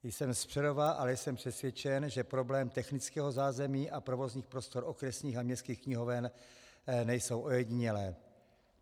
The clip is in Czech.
Jsem z Přerova, ale jsem přesvědčen, že problémy technického zázemí a provozních prostor okresních a městských knihoven nejsou ojedinělé.